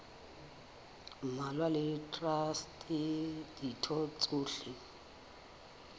mmalwa le traste ditho tsohle